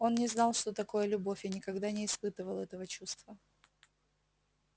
он не знал что такое любовь и никогда не испытывал этого чувства